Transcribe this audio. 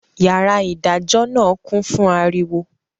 Yàrá ìdájọ́ náà kún fún ariwo